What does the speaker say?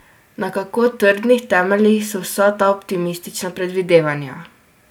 Na kako trdnih temeljih so vsa ta optimistična predvidevanja?